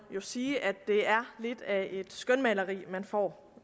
sige at det er lidt af et skønmaleri man får